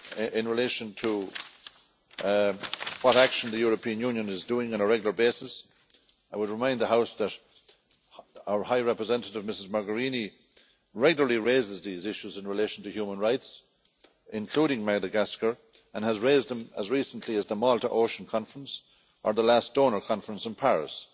In relation to the action the European Union is taking on a regular basis, I would remind the House that our High Representative Ms Mogherini regularly raises these issues in relation to human rights, including Madagascar, and has raised them as recently as the Our Ocean Conference in Malta, or the last Donors Conference in Paris.